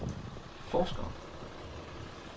forskere